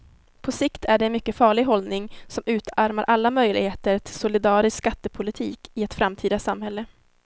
På sikt är det en mycket farlig hållning som utarmar alla möjligheter till solidarisk skattepolitik i ett framtida samhälle.